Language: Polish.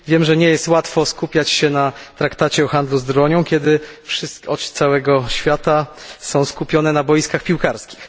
Wiem, że nie jest łatwo skupiać się na traktacie o handlu bronią, kiedy oczy całego świata są skupione na boiskach piłkarskich.